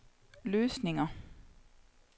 løsninger